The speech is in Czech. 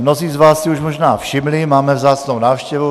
Mnozí z vás si už možná všimli, máme vzácnou návštěvu.